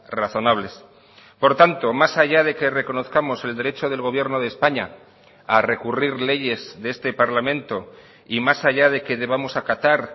razonables por tanto más allá de que reconozcamos el derecho del gobierno de españa a recurrir leyes de este parlamento y más allá de que debamos acatar